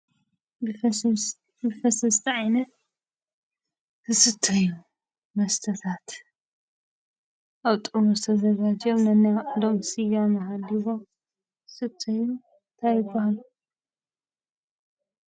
ልስሉስ መስተ ዓይነት ዝስተዩ መስተታት ኣብ ጥርሙዝ ተዘጋጆም ነናይባዕሎም ስያመ ሃልይዎም ዝስተዩ እንታይ ይብሃሉ?